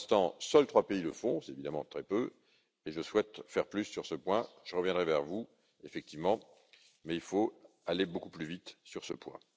Pour l'instant, seuls trois pays le font, c'est évidemment très peu, et je souhaite faire plus sur ce point. Je reviendrai vers vous à ce sujet, mais, effectivement, il faut aller beaucoup plus vite sur ce point.